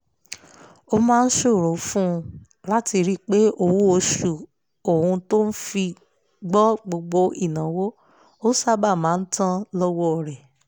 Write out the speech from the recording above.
ó máa ṣòro fún un láti rí pé owó oṣù òun tó fi gbọ́ gbogbo ìnáwó ó sáábà máa tán lọ́wọ́ rẹ̀